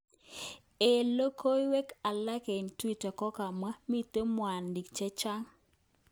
Eng logoiwek alak eng twitter, kokamwa"miten mwanik chechang!